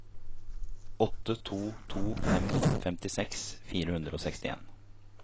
åtte to to fem femtiseks fire hundre og sekstien